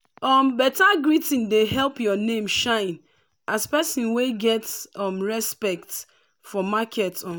um beta greeting dey help your name shine as person wey get um respect for market. um